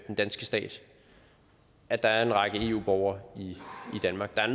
den danske stat at der er en række eu borgere i danmark der er